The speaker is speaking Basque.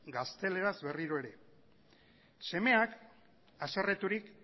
gazteleraz berriro ere semeak haserreturik